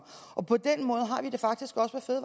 på den måde